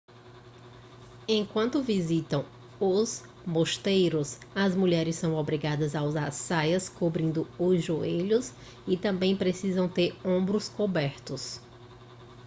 enquanto visitam os mosteiros as mulheres são obrigadas a usar saias cobrindo os joelhos e também precisam ter seus ombros cobertos